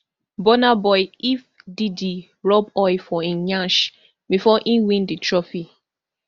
burna boy if diddy rub oil for im nyash bifor e win di trophy